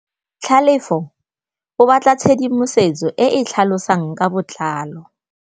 Tlhalefô o batla tshedimosetsô e e tlhalosang ka botlalô.